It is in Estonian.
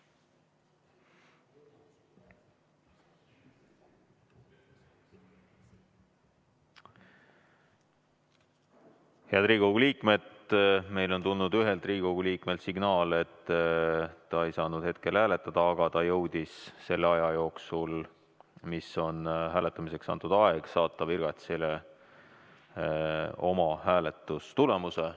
Head Riigikogu liikmed, meile on tulnud ühelt Riigikogu liikmelt signaal, et ta ei saanud hetkel hääletada, aga ta jõudis hääletamiseks antud aja jooksul saata virgatsile oma hääletustulemuse.